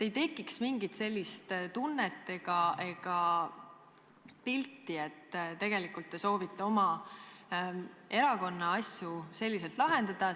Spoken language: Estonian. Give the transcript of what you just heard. Siis ei oleks mingit sellist tunnet, et tegelikult te soovite oma erakonna probleeme selliselt lahendada.